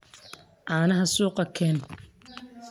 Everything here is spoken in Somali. Canaxa suuka keex.